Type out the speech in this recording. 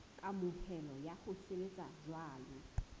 kamohelo ya ho sebetsa jwalo